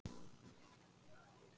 Miriam